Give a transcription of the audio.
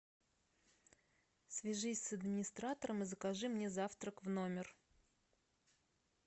свяжись с администратором и закажи мне завтрак в номер